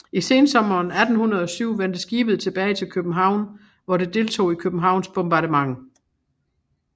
I sensommeren 1807 vendte skibet tilbage til København hvor det deltog i Københavns bombardement